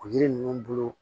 O yiri ninnu bolo